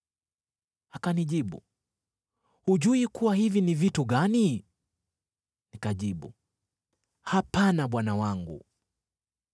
Akanijibu, “Hujui kuwa hivi ni vitu gani?” Nikajibu, “Hapana, bwana wangu.”